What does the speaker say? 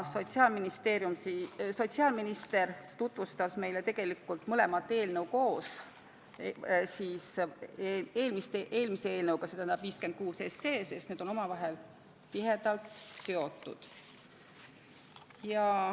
Sotsiaalminister tutvustas meile tegelikult mõlemat eelnõu koos, seda ja eelmist eelnõu, st eelnõu 56, sest need on omavahel tihedalt seotud.